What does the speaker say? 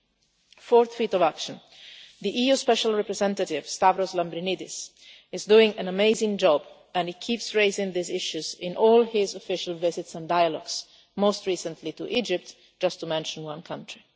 In the fourth field of action the EU Special Representative, Stavros Lambrinidis, is doing an amazing job and keeps raising these issues in all his official visits and dialogues most recently to Egypt, just to mention one country.